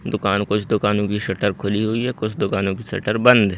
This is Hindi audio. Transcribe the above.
दुकान कुछ दुकानों की शटर खुली हुई हैं कुछ दुकानों की शटर बंद हैं।